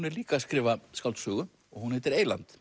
er líka að skrifa skáldsögu og hún heitir eyland